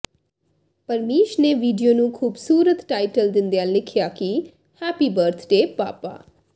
ਪਰਮੀਸ਼ ਨੇ ਵੀਡੀਓ ਨੂੰ ਖੁਬਸੂਰਤ ਟਾਈਟਲ ਦਿੰਦਿਆਂ ਲਿਿਖਆ ਕਿ ਹੈਪੀ ਬਰਥਡੇ ਪਾਪਾ